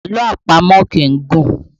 Àlọ́ àpamọ̀ kì í gùn